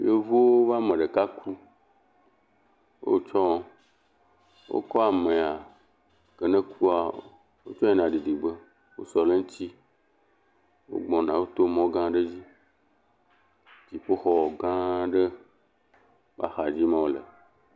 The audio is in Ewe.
Yevuwo woƒe ame ɖeka ku. Wotsɔ, wokɔ amea ke ne kua tsɔ yina ɖiɖige. Wosɔ ɖe eŋutsi. Wogbɔna woto mɔ gã aɖe dzi. Dzɔƒoxɔ gã aɖe axa dzi ma wole.